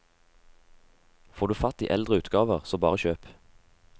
Får du fatt i eldre utgaver, så bare kjøp.